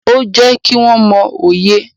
Ó ń jẹ́ kí wọ́n mọ òye.